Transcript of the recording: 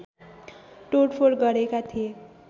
तोडफोड गरेका थिए